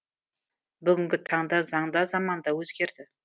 бүгінгі таңда заң да заман да өзгерді